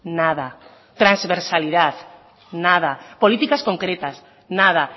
nada transversalidad nada políticas concretas nada